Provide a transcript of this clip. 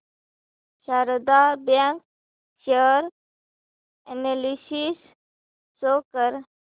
Sharda bank share analysis show कर